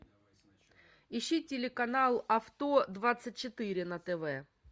ищи телеканал авто двадцать четыре на тв